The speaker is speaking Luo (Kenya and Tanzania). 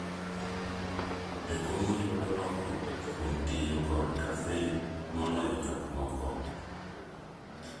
Jokomo yudo lokruok kuom tiyo kod kafein moloyo jomoko.